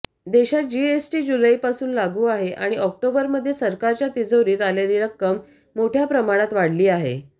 देशात जीएसटी जुलैपासून लागू आहे आणि ऑक्टोबरमध्ये सरकारच्या तिजोरीत आलेली रक्कम मोठ्या प्रमाणात वाढली आहे